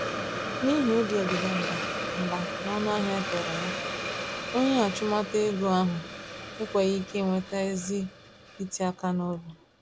N'ihi obi ọdịda mbà mbà nọnụ ahịa ekwere ya, onye achumtaego ahụ enweghị ike nweta ezi iti-aka nobi